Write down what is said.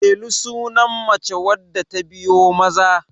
Delu sunan mace wadda ta biyo Maza